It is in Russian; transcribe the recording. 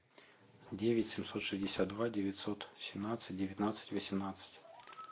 девять семьсот шестьдесят два девятьсот семнадцать девятнадцать восемнадцать